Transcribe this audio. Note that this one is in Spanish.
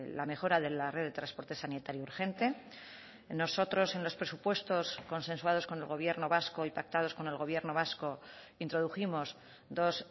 la mejora de la red de transporte sanitario urgente nosotros en los presupuestos consensuados con el gobierno vasco y pactados con el gobierno vasco introdujimos dos